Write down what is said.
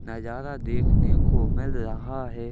नजारा देखने को मिल रहा है।